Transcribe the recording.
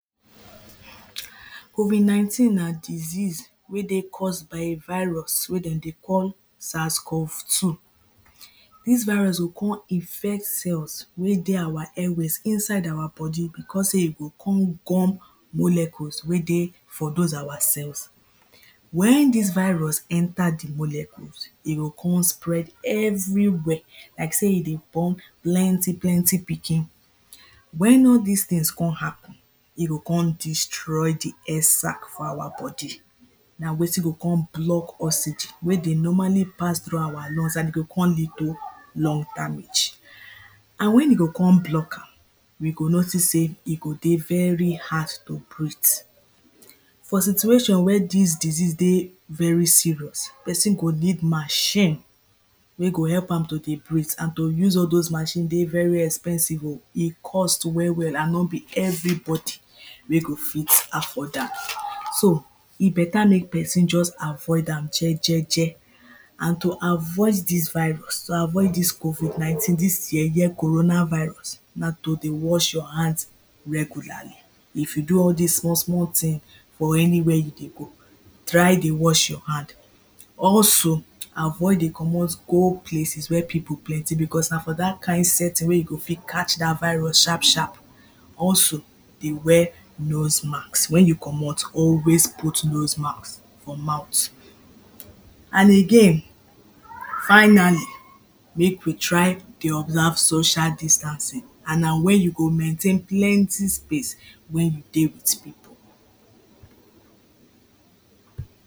covid nineteen na disease wey dey cause by a virus wey dem dey call sarcough two dis virus go con infect cells wey dey our airways inside our body because sey e go con gum molecules wey dey for those our cells when this virus enter the molecules e go con spread everywhere like sey e dey born plenty plenty pikin when all these things con happen e go con destroy the air sack for our body na wetin go con block oxygen wey dey normally pass through our lungs and e go con turn into lung damage and when e go con block am we go notice say, e dey very hard to breath for situation where dis disease dey very serious person go need machine wey go help am to dey breath and to use all those machine dey very expensive o e cost well well and no be everybody wey go fit afford am e better make person just avoid am jejeje and to avoid dis virus to avoid this covid nineteen dis yeye corona virus na to dey wash your hands regular if you do all dis small small thing for anywhere you dey go try dey wash your hand also avoid dey comot go places where people plenty because na for that kain setting wey you go fit catch that virus sharp sharp also dey wear noisemask when you commot always put noisemask for mouth and again finally make we try dey observe social distancing and na when you go maintain plenty space when you dey with people